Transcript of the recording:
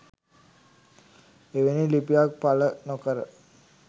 එවැනි ලිපියක් පළ නොකර